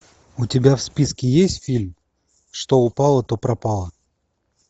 у тебя в списке есть фильм что упало то пропало